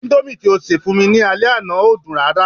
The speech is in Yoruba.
Indomie ti o ṣe fún mi ni ale àná o dun rara